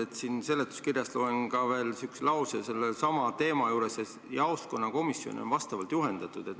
Loen siit seletuskirjast sellesama teema juurest ka veel sellise lause, et jaoskonnakomisjone on vastavalt juhendatud.